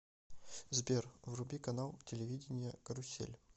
сбер вруби канал телевидения карусель